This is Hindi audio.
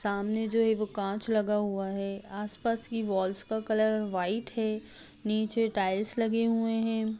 सामने जो है वह कांच लगा हुआ है आसपास की वाल्स का कलर व्हाइट है नीचे टाइल्स लगे हुए हैं